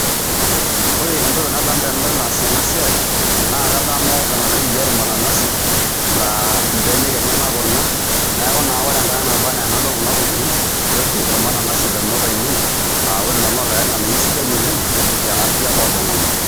Ore entoki nadamu tenadol eas ena siai naa kadamu orng'anayioi oji ormananasi laa mbenek enyenak kuna, neeku naa ore enkata naba naa enadol kuna tokitin neeltu ormananasi ndamunot ainei a ore ilo naa olikai ng'anayioi sidai oleng' te afya oltung'ani.